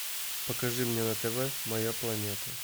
покажи мне на тв моя планета